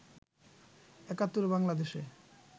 একাত্তরে বাংলাদেশে